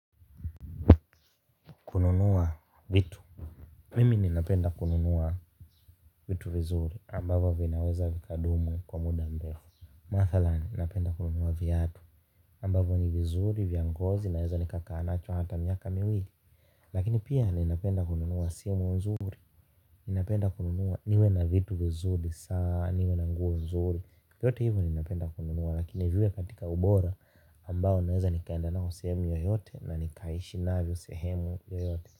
Kununua vitu. Mimi ninapenda kununua vitu vizuri ambavyo vinaweza vikadumu kwa muda mrefu. Mathalan ninapenda kununua viatu ambavyo ni vizuri, vya ngozi, naweza nikakaa nacho hata miaka miwili. Lakini pia ninapenda kununua simu nzuri. Ninapenda kununua niwe na vitu vizuri, saa niwe na nguo nzuri. Yote hivo ninapenda kununua lakini viwe katika ubora ambao naweza nikaenda navyo sehemu yoyote na nikaishi navyo sehemu yoyote.